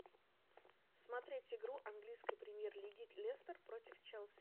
смотреть игру английской премьер лиги лестер против челси